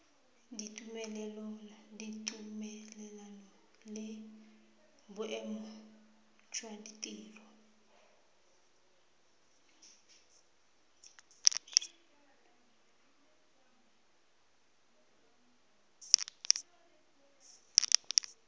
ditumelelano le boemo jwa tiriso